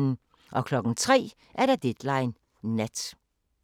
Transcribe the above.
03:00: Deadline Nat